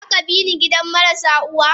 Zaka bini gidan marasu uwa.?